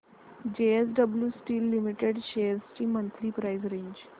JSW steel limited shares ची monthly price range